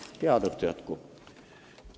Head õhtu jätku!